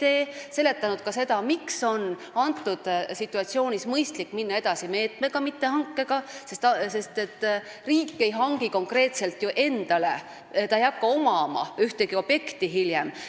Me oleme seletanud ka seda, et selles situatsioonis on mõistlik minna edasi meetmega, mitte hankega, sest riik ei hangi konkreetselt ju midagi endale, ta ei hakka ühtegi objekti hiljem omama.